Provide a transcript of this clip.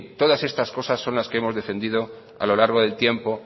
todas estas cosas son las que hemos defendido a lo largo del tiempo